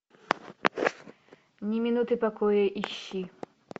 ни минуты покоя ищи